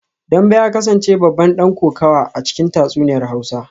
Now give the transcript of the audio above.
Dambe ya kasance babban dan kokawa a cikin tatsuniyar hausa